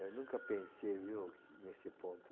Eu nunca pensei viu, nesse ponto.